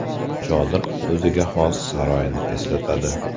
Chodir o‘ziga xos saroyni eslatadi.